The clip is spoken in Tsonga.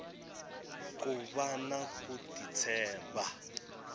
ku vana ku ti tshemba